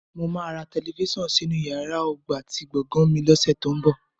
Mo máa ra tẹlifíṣàn sínú yàrá ọgbà ti gbọ̀gàn mi lọ́sẹ̀ tó ń bọ̀